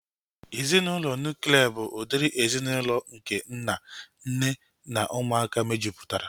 Ezinaụlọ nuklia bụ udiri ezinaụlọ nke nna, nne na ụmụaka mejupụtara